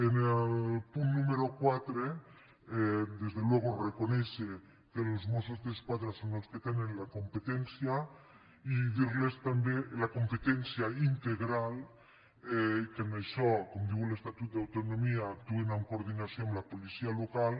en el punt número quatre per descomptat reconèixer que els mossos d’esquadra són els que tenen la competència la competència integral i que en això com diu l’estatut d’autonomia actuen en coordinació amb la policia local